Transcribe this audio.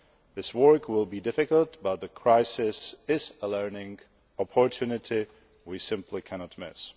This work will be difficult, but the crisis is a learning opportunity we simply cannot miss.